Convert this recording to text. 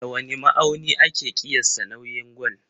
Da wane ma'auni ake ƙiyasta nauyin gwal?